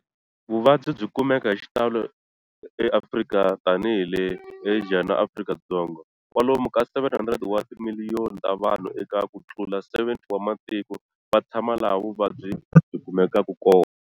Vuvabyi byi kumeka hi xitalo eAfrika, tanihi le Asia na Afrika-Dzonga. Kwalomu ka 700 wa timiliyoni ta vanhu, eka ku tlula 70 wa matiko, va tshama laha vuvabyi byi kumekaka.